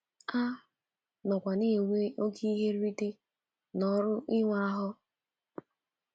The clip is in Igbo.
A nọkwa na-enwe oké ihe nrite n’ọrụ ịwa ahụ.